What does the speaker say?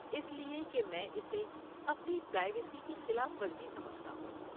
اس لیے کہ میں اسے اپنی پرائیویسی کی خلاف ورزی سمجھتا ہوں۔